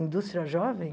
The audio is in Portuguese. Indústria jovem?